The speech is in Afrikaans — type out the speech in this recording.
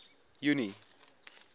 junie